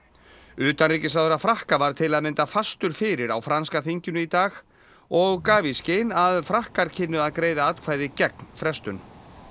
utanríkisráðherra Frakka var til að mynda fastur fyrir á franska þinginu í dag og gaf í skyn að Frakkar kynnu að greiða atkvæði gegn frestun